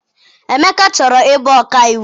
Emeka chọrọ ịbụ ọkaiwu.